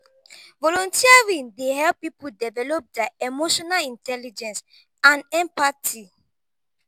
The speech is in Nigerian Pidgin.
volunteering dey help people develop dia emotional intelligence and empathy.